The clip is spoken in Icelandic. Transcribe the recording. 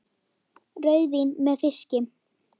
Rauðvín með fiski?